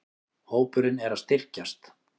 Hópurinn er að styrkjast.